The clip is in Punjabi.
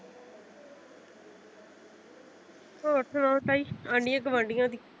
ਹੋਰ ਸੁਣਾਓ ਤਾਈ ਆਂਢੀਆਂ ਗਵਾਂਢੀਆਂ ਦੀ?